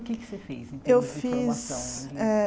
O que você fez em termos Eu fiz eh De formação?